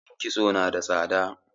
yin kisto nada tsada